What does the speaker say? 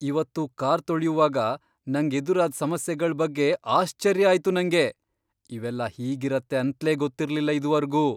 ಇವತ್ತು ಕಾರ್ ತೊಳ್ಯುವಾಗ ನಂಗ್ ಎದುರಾದ್ ಸಮಸ್ಯೆಗಳ್ ಬಗ್ಗೆ ಆಶ್ಚರ್ಯ ಆಯ್ತು ನಂಗೆ, ಇವೆಲ್ಲ ಹೀಗಿರತ್ತೆ ಅಂತ್ಲೇ ಗೊತ್ತಿರ್ಲಿಲ್ಲ ಇದುವರ್ಗೂ.